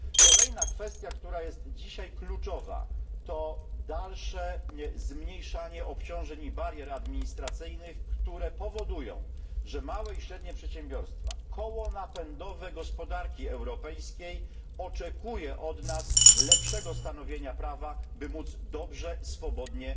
Kolejna kwestia, która jest dzisiaj kluczowa, dotyczy dalszego ograniczania obciążeń i barier administracyjnych, które powodują, że małe i średnie przedsiębiorstwa koło napędowe gospodarki europejskiej oczekują od nas lepszego stanowienia prawa, by móc dobrze, swobodnie,